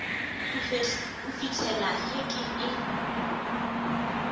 go fihlela ge ke e